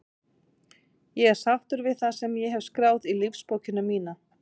Ég er sáttur við það sem ég hef skráð í lífsbókina mína.